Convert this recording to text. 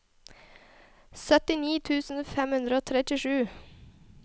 syttini tusen fem hundre og trettisju